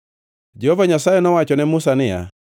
Jehova Nyasaye nowacho ne Musa niya,